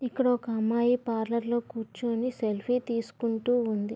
ఇక్కడ ఒక అమ్మాయి పార్లర్లో కూర్చొని సెల్ఫీ తీసుకుంటూ ఉంది.